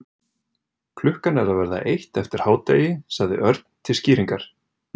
Klukkan er að verða eitt eftir hádegi sagði Örn til skýringar.